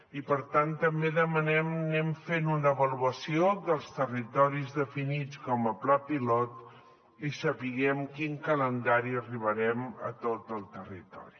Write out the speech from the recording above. i per tant també demanem que anem fent una avaluació dels territoris definits com a pla pilot i sapiguem amb quin calendari arribarem a tot el territori